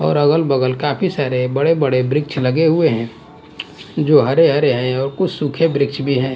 और अगल-बगल काफी सारे बड़े-बड़े वृक्ष लगे हुए हैं जो हरे हरे हैं और कुछ सूखे वृक्ष भी हैं।